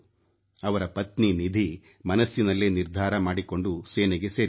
ಅವರ ಪತ್ನಿ ನಿಧಿ ಮನಸ್ಸಿನಲ್ಲೇ ನಿರ್ಧಾರ ಮಾಡಿಕೊಂಡು ಸೇನೆಗೆ ಸೇರಿದರು